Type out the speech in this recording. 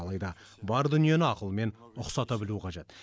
алайда бар дүниені ақылмен ұқсата білу қажет